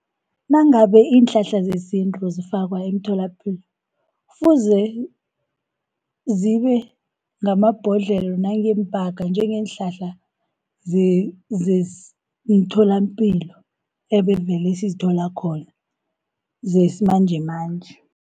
Nangabe iinhlahla zesintu zifakwa emtholapilo kufuze, zibe ngamabhodlhelo nangeempaka njengeenhlahla zemtholapilo ebevele sizithola khona, zesimanjemanje.